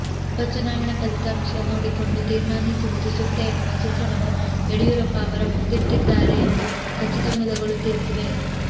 ಉಪ ಚುನಾವಣಾ ಫಲಿತಾಂಶ ನೋಡಿಕೊಂಡು ತೀರ್ಮಾನಿಸುವುದು ಸೂಕ್ತ ಎನ್ನುವ ಸೂತ್ರವನ್ನು ಯಡಿಯೂರಪ್ಪ ಅವರ ಮುಂದಿಟ್ಟಿಿದ್ದಾಾರೆ ಎಂದು ಖಚಿತ ಮೂಲಗಳು ತಿಳಿಸಿವೆ